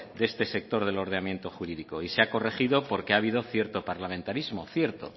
de este sector del ordenamiento jurídico y se ha corregido porque ha habido cierto parlamentarismo cierto